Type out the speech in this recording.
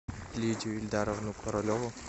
лидию ильдаровну королеву